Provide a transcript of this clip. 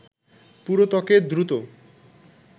পুরো ত্বকে দ্রুত